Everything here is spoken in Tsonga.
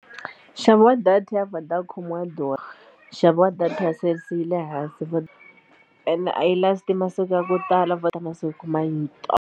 Nxavo wa data ya Vodacom wa durha nxavo wa data ya Cell C yi le hansi ene a yi last masiku ya ku tala ta masiku .